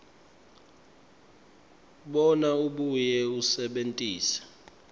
bona abuye asebentise